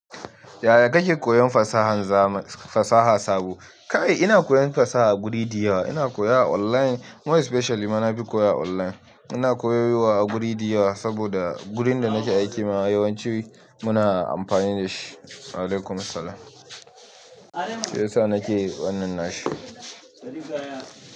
Yaya kake koyon fasaha sabo? Kai ina koyon fasaha a guri da yawa. Ina koya a online more specially mana fi koya a online. Ina koyowa a guri da yawa saboda gurin da nake aikina yawanci muna amfani da shi. Alaikum salam. Shiyasa nake wannan nashi.